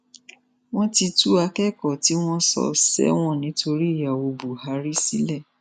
wọn ti tú akẹkọọ tí wọn sọ sẹwọn nítorí ìyàwó buhari sílẹ